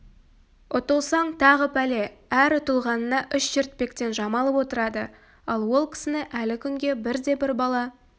ұтылсаң тағы пәле әр ұтылғанына үш шертпектен жамалып отырады ал ол кісіні әлі күнге бірде-бір бала